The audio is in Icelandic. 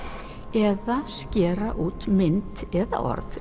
eða skera út mynd eða orð